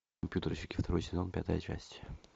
компьютерщики второй сезон пятая часть